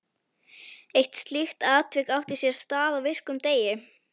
Eitt slíkt atvik átti sér stað á virkum degi.